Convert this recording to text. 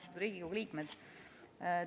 Austatud Riigikogu liikmed!